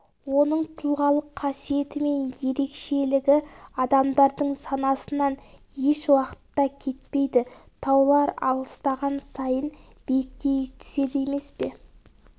оның тұлғалық қасиеті мен ерекшелігі адамдардың санасынан ешуақытта кетпейді таулар алыстаған сайын биіктей түседі емес пе